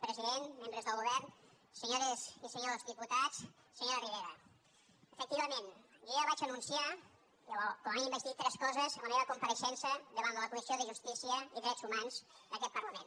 president membres del govern senyores i senyors diputats senyora ribera efectivament jo ja vaig anunciar o com a mínim vaig dir tres coses en la meva compareixença davant de la comissió de justícia i drets humans d’aquest parlament